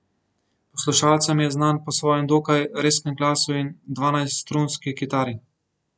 Poslušalcem je znan po svojem dokaj rezkem glasu in dvanajststrunski kitari.